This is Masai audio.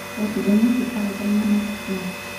Etijingakita ltunganak kumok.